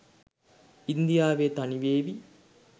ඉන්දියාවෙ තනිවෙවි.